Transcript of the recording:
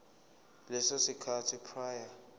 leso sikhathi prior